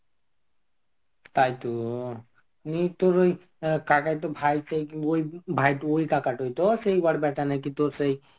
তাই তো. নিয়ে তোর ওই কাকাই ভাইতে~ তো ভাইটু ওই কাকাটোই তো সেই ওর ব্যাটা নাকি তোর সেই